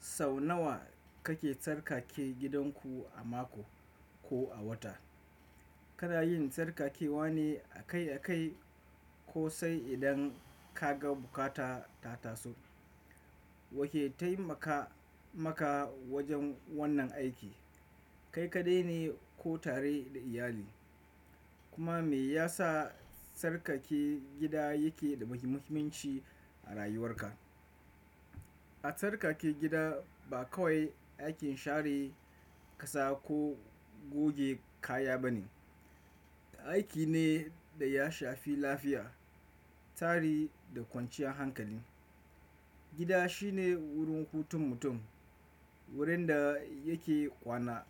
Sau nawa kake tsarkake gidanku a mako ko a wata? Kana yin tsarkakewa ne akai-akai ko sai idan ka ga buƙata ta taso? Wa ke taimaka maka wajen wannan aiki? Kai kaɗai ne ko tare da iyali? Kuma me yasa tsarkake gida yake da muhimmanci a rayuwarka? A tsarkake gida ba kawai aikin share ƙasa ko goge kaya ba ne. Aiki ne da ya shafi lafiya, tsari da kwanciyan hankali. Gida shine wurin hutun mutum, wurin da yake kwana,